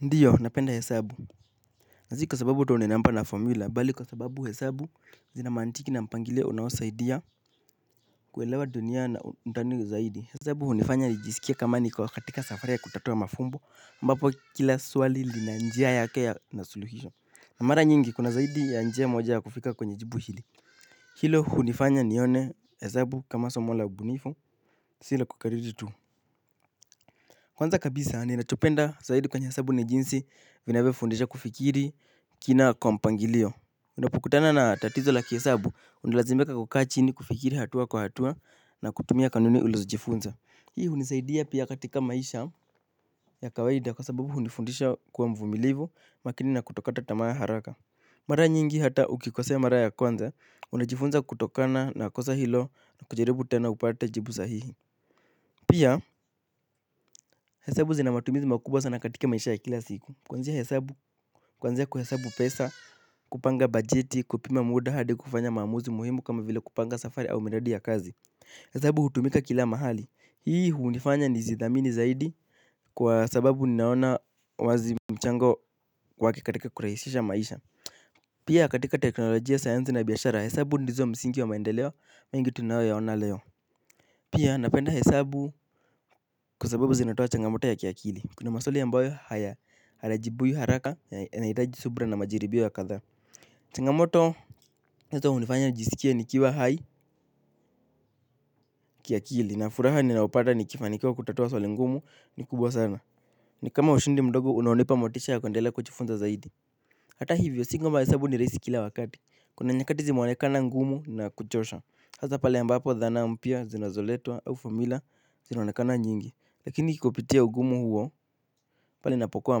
Ndiyo napenda hesabu na si kwa sababu uto unenamba na formula bali kwa sababu hesabu zina mantiki na mpangilio unaosaidia kuelewa dunia na undani zaidi hesabu hunifanya nijisikie kama niko katika safari ya kutatua mafumbo ambapo kila swali linanjia yake ya na suluhisho mara nyingi kuna zaidi ya njia moja ya kufika kwenye jibu hili hilo hunifanya nione hesabu kama somo la ubunifu sila kukariri tu. Kwanza kabisa ni nachopenda zaid kwenye hesabu ni jinsi inavo fundisha kufikiri kina kwa mpangilio. Unapokutana na tatizo la kiesabu, unalazimika kukaa chini kufikiri hatua kwa hatua na kutumia kanuni ulizo jifunza. Hii hunisaidia pia katika maisha ya kawaida kwa sababu hunifundisha kuwa mvumilivu makini na kutokata tamaa haraka. Mara nyingi hata ukikosea mara ya kwanza, unajifunza kutokana na kosa hilo na kujaribu tena upate jibu sahihi. Pia hesabu zina matumizi makubwa sana katika maisha ya kila siku. Kuanzia kuhesabu pesa, kupanga bajeti, kupima muda hadi kufanya maamuzi muhimu kama vile kupanga safari au miradi ya kazi. Hesabu hutumika kila mahali, hii hunifanya ni zidhamini zaidi kwa sababu ninaona wazi mchango wake katika kurahisisha maisha. Pia katika teknolojia sayanzi na biashara hesabu ndizo msingi wa maendeleo, mengi tunayo yaona leo. Pia napenda hesabu kwa sababu zinatoa changamoto ya kiakili. Kuna maswali ambayo haya alajibuyu haraka ya naitaji subra na majiribio ya kathaa. Changamoto nazo hunifanya nijisikie nikiwa hai kiakili. Na furaha ninaopata nikifanikiawa kutatua swaleli ngumu ni kubwa sana. Ni kama ushindi mdogo unaonipa motisha ya kundela kuchifunza zaidi. Hata hivyo si kwamba hesabu ni raisi kila wakati. Kuna nyakati zimeonekana ngumu na kuchosha. Hazapale ambapo dhana mpia zinazoletwa au fomula zinanakana nyingi. Lakini kikopitia ugumu huo pali napokuwa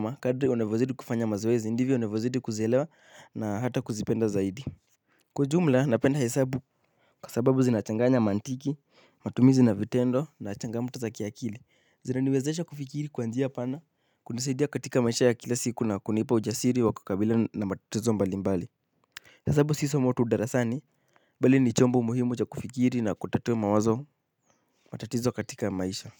makadri unevozidi kufanya mazwezi ndivyo unavozidi kuzielewa na hata kuzipenda zaidi. Kwa ujumla napenda ya sabu kasababu zinachanganya mantiki matumizi na vitendo na achangamuto za kiakili zinaniwezeesha kufikiri kwa njia pana kunisaidia katika maisha ya kila siku na kunipa ujasiri wa kukabila na matatizo mbali mbali hesabu si somo tu darasani bali ni chombo muhimu cha kufikiri na kutatua mawazo matatizo katika maisha.